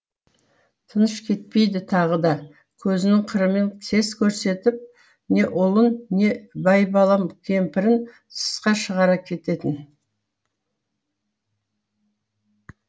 тыныш кетпейді тағы да көзінің қырымен сес көрсетіп не ұлын не байбалам кемпірін тысқа шығара кететін